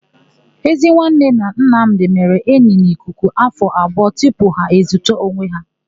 Ezinwanne na Nnamdị mere enyi n'ikuku afọ abụọ tupu ha ezuta onwe ha.